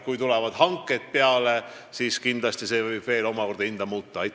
Kui tulevad hanked peale, siis võib hind omakorda muutuda.